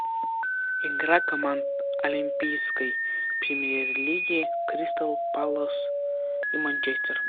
игра команд олимпийской премьер лиги кристалл палас и манчестер